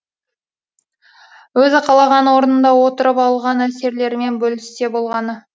өзі қалаған орнында отырып алған әсерлерімен бөліссе болғаны